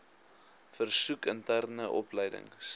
versoek interne opleidings